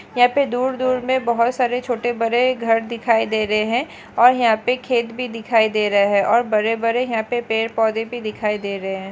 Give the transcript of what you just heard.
यहाँ पे दूर-दूर में बहोत सारे छोटे-बड़े घर दिखाई दे रहे है और यहाँ पे खेत भी दिखाई दे रहे है और बड़े-बड़े यहाँ पे पेड़-पौधे भी दिखाई दे रहे है।